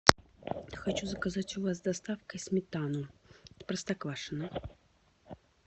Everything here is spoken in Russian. хочу заказать у вас с доставкой сметану простоквашино